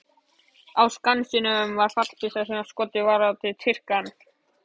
Á Skansinum var fallbyssa sem skotið var af á Tyrkjann.